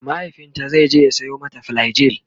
mahaifinta zaije ya Sayo mata flagyl